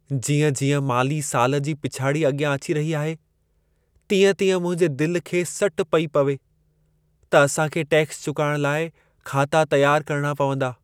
जीअं-जीअं माली साल जी पिछाड़ी अॻियां अची रही आहे, तीअं-तीअं मुंहिंजे दिल खे सट पई पवे, त असां खे टैक्स चुकाइण लाइ खाता तियार करणा पवंदा।